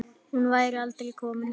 Hún væri alkomin heim.